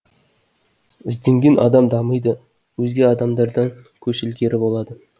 ізденген адам дамиды өзге адамдардан көш ілгері болады